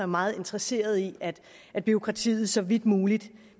meget interesseret i at bureaukratiet så vidt muligt